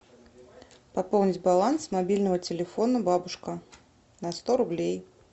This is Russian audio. пополнить баланс мобильного телефона бабушка на сто рублей